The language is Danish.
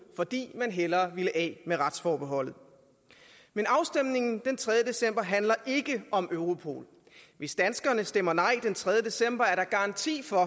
fordi man hellere ville af med retsforbeholdet men afstemningen den tredje december handler ikke om europol hvis danskerne stemmer nej den tredje december er der garanti for at